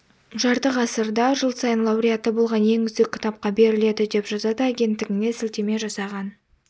жарты ғасырда жыл сайын лауреаты болған ең үздік кітапқа беріледі деп жазады агенттігіне сілтеме жасаған